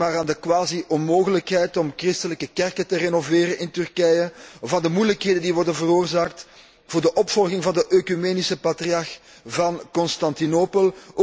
Denk maar aan de quasi onmogelijkheid om christelijke kerken te renoveren in Turkije, of aan de moeilijkheden die worden veroorzaakt voor de opvolging van de oecumenisch patriarch van Constantinopel.